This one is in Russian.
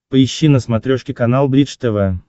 поищи на смотрешке канал бридж тв